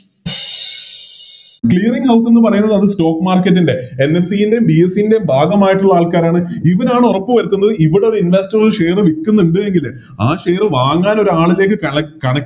Clearing house എന്ന് പറയുന്നത് അത് Stock market ൻറെ NSE യുടെയും BSE യുടെയും ഭാഗമായിട്ടുള്ള ആൾക്കാരാണ് ഇവരാണ് ഒറപ്പ് വരുത്തുന്നത് ഇവിടോര് Investor share വിൽക്കുന്നുണ്ട് എങ്കില് ആ Share വാങ്ങാൻ ഒരാളിലേക്ക് കള കണ